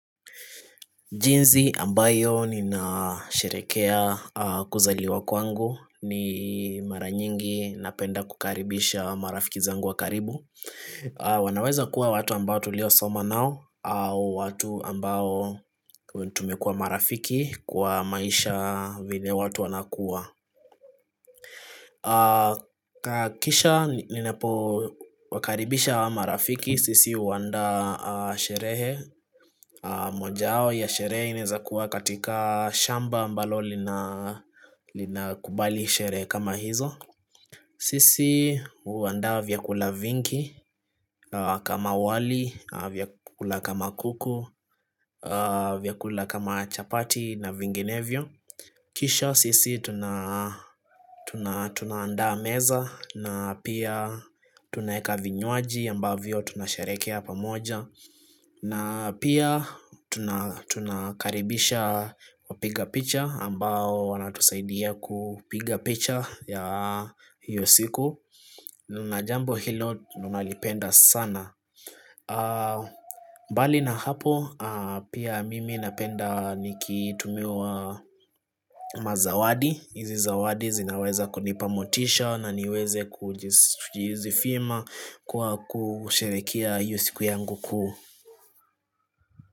Jinsi ambayo ninasherehekea kuzaliwa kwangu ni mara nyingi napenda kukaribisha marafiki zangu wa karibu. Wanaweza kuwa watu ambao tuliosoma nao au watu ambao tumekuwa marafiki kwa maisha vile watu wanakua. Kisha ninapowakaribisha wa marafiki sisi huandaa sherehe moja wao ya sherehe inaezakuwa katika shamba ambalo lina kubali sherehe kama hizo Sisi huandaa vyakula vingi kama wali, vyakula kama kuku vyakula kama chapati na vinginevyo Kisha sisi tunaandaa meza na pia tunaweka vinywaji ambavyo tunasherehekea pamoja na pia tunakaribisha wapiga picha ambao wanatusaidia kupiga picha ya hiyo siku na jambo hilo tunalipenda sana mbali na hapo pia mimi napenda nikitumiwa mazawadi. Hizi zawadi zinaweza kunipa motisha na niweze kujizifima kwa kusherehekea hiyo siku yangu kuu.